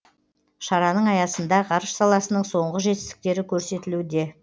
шараның аясында ғарыш саласының соңғы жетістіктері көрсетілуде